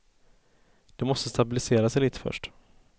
Det måste stabilisera sig lite först.